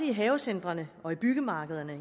i havecentrene og i byggemarkederne